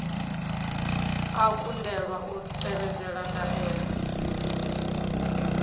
a kundelwa u tevhedzela ndaela